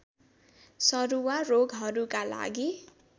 सरुवा रोगहरूका लागि